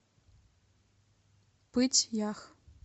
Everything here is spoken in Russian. пыть ях